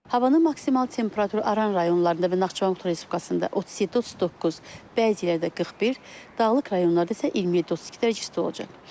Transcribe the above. Havanın maksimal temperaturu Aran rayonlarında və Naxçıvan Muxtar Respublikasında 37-39, bəzi yerlərdə 41, dağlıq rayonlarda isə 27-32 dərəcə isti olacaq.